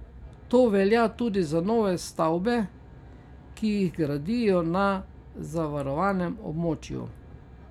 To velja tudi za nove stavbe, ki jih gradijo na zavarovanem območju.